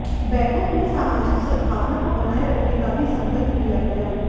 बैठक में सामाजिक सदभावना को बनाए रखने का भी संकल्प लिया गया